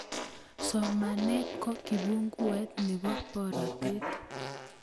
Somaneet ko kipunguet nebo boroteet